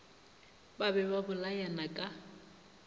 ba be ba bolayana ka